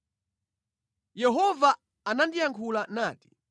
Yehova anandiyankhula nati: